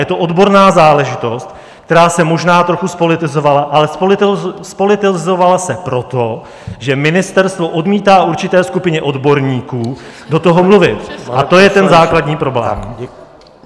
Je to odborná záležitost, která se možná trochu zpolitizovala, ale zpolitizovala se proto, že ministerstvo odmítá určité skupině odborníků do toho mluvit, a to je ten základní problém.